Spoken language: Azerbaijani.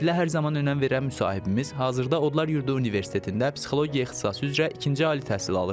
Təhsilə hər zaman önəm verən müsahibimiz hazırda Odlar Yurdu Universitetində psixologiya ixtisası üzrə ikinci ali təhsil alır.